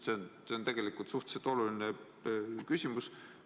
See on tegelikult suhteliselt oluline küsimus.